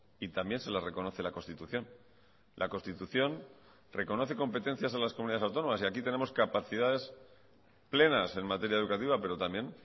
y también se las reconoce la constitución la constitución reconoce competencias a las comunidades autónomas y aquí tenemos capacidades plenas en materia educativa pero también